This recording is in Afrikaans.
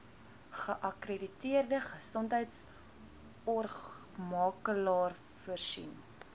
geakkrediteerde gesondheidsorgmakelaar voorsien